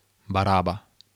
Baraba.